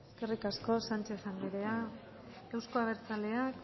eskerrik asko sánchez anderea euzko abertzaleak